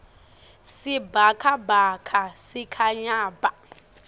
sibhakabhaka sikhanya bha